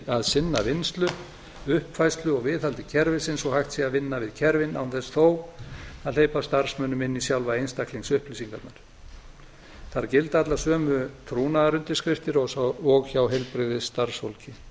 að sinna vinnslu uppfærslu og viðhaldi kerfisins svo að hægt sé að vinna við kerfin án þess þó að hleypa starfsmönnum inn í sjálfar einstaklingsupplýsingarnar þar gilda allar sömu trúnaðar undirskriftir og hjá heilbrigðisstarfsfólki